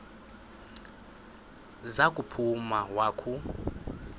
za kuphuma wakhu